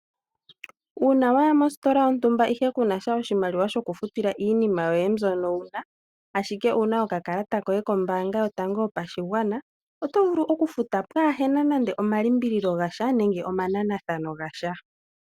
Uuna waya mositola yontumba ihe kunasha oshimaliwa shoku futila iinima yoye mbyono wu na, ashike owu na okakalata koye kombaanga yotango yopashigwana, oto vulu oku futa pwaahena nande omalimbililo gasha nande omananathano gasha.